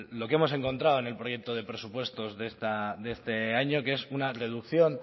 lo que hemos encontrado en el proyecto de presupuestos de este año que es una reducción